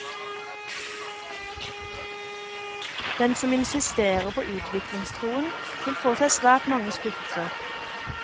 Den som insisterer på utviklingstroen, vil få seg svært mange skuffelser.